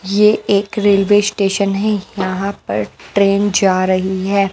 यह एक railway station है। यहां पर ट्रेन जा रही है।